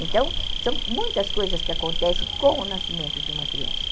Então, são muitas coisas que acontecem com o nascimento de uma criança.